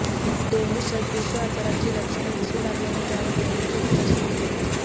dengue सदृश्य आजाराची लक्षणं दिसू लागल्याने त्यावर डेंग्यूचे उपचार सुरु केले